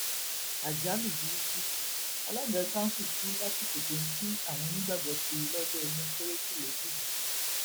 àjálù burúkú alága kanṣu kú lásìkò tó ń kí àwọn onígbàgbọ kiri lọjọ ọdún kérésì lẹjìgbò